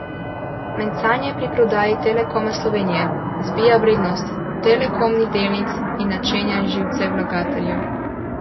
Mencanje pri prodaji Telekoma Slovenije zbija vrednost Telekomih delnic in načenja živce vlagateljev.